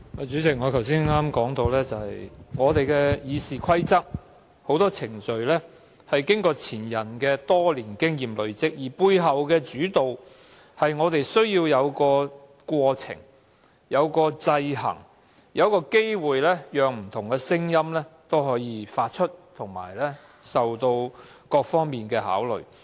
主席，我剛才說到，《議事規則》中很多程序是前人多年經驗累積的成果，背後意義在於議會需要有程序及制衡，亦要提供機會讓不同聲音表達意見，作出各方面的考慮。